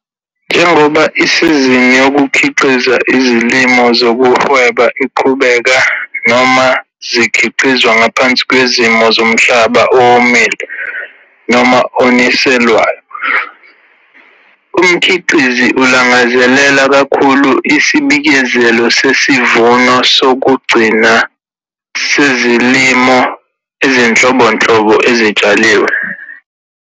NJENGOBA ISIZINI YOKUKHIQIZA IZILIMO ZOKUHWEBA IQHUBEKA, NOMA ZIKHIQIZWA NGAPHANSI KWEZIMO ZOMHLABA OWOMILE NOMA ONISELWAYO, UMKHIQIZI ULANGAZELELA KAKHULU ISIBIKEZELO SESIVUNO SOKUGCINA SEZILIMO EZINHLOBONHLOBO EZITSHALIWE.